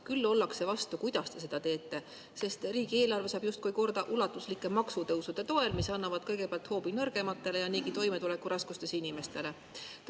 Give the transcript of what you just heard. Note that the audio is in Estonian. Küll ollakse vastu sellele, kuidas te seda teete, sest riigieelarve saab justkui korda ulatuslike maksutõusude toel, mis annavad kõigepealt hoobi nõrgematele ja niigi toimetulekuraskustes inimestele.